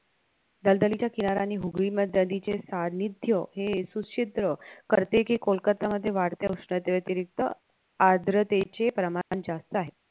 दलदलीच्या किनाऱ्यानी हुगळी नदीचे सानिध्य हे सुछिद्र करते कि कोलकातामध्ये वाढत्या उष्णते व्यतिरिक्त आद्रतेचे प्रमाण जास्त आहे